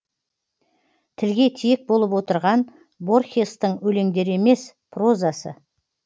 тілге тиек болып отырған борхестың өлеңдері емес прозасы